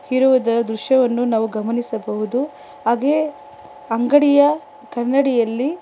ಇರುವುದ ದೃಶ್ಯವನ್ನು ನಾವು ಗಮನಿಸಬಹುದು ಹಾಗೆ ಅಂಗಡಿಯ ಕನ್ನಡಿಯಲ್ಲಿ --